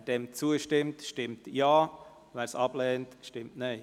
Wer dem zustimmt, stimmt Ja, wer dies ablehnt, stimmt Nein.